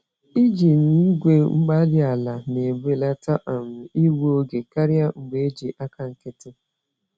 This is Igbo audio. IjiI gwe-mgbárí-ala na-ebelata um igbu oge karịa mgbe eji àkà nkịtị.